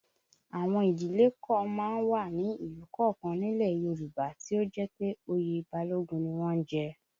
Àwọn ìdílé kan má ń wà ní ìlú kọ̀ọ̀kan nílẹ̀ Yorùbá tí ó jẹ́ pé oyè Balógun ni wọ́n ń jẹ